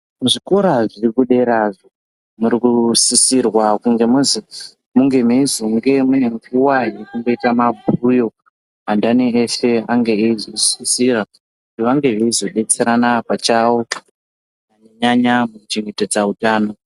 Muzvikora zviri kudera muri sisirwa munge meizova rukuwa yekuchengeta maguyo andani vese vange veizo sisira kuti vange veizodetserana pachavo kunyanya nyanya kuchengetedza utano.